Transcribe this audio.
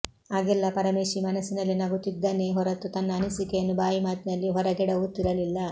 ಆಗೆಲ್ಲ ಪರಮೇಶಿ ಮನಸ್ಸಿನಲ್ಲೇ ನಗುತ್ತಿದ್ದನೇ ಹೊರತು ತನ್ನ ಅನಿಸಿಕೆಯನ್ನು ಬಾಯಿ ಮಾತಿನಲ್ಲಿ ಹೊರಗೆಡವುತ್ತಿರಲಿಲ್ಲ